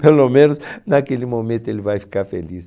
Pelo menos naquele momento ele vai ficar feliz.